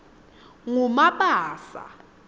ngumabasa